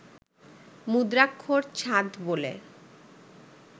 মুদ্রাক্ষর ছাঁদ বলে